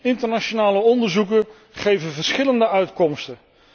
Internationale onderzoeken geven verschillende uitkomsten.